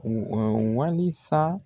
walisa.